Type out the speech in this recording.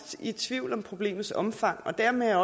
i tvivl om problemets omfang og dermed er